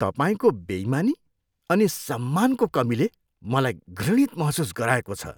तपाईँको बेइमानी अनि सम्मानको कमीले मलाई घृणित महसुस गराएको छ।